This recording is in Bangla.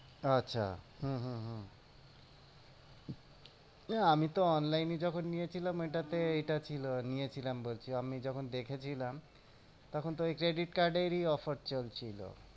আচ্ছা হম হম হম আমিতো online এ যখন নিয়েছিলাম। এটাতে এইটা ছিল নিয়েছিলাম বলছি আমি যখন দেখেছিলাম, তখন এই credit card এর ই offer চলছিল।